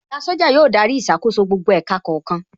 Oga Soja yóò darí ìṣàkóso gbogbo ẹ̀ka kọ̀ọ̀kan